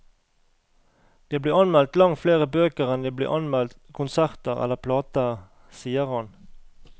Det blir anmeldt langt flere bøker enn det blir anmeldt konserter eller plater, sier han.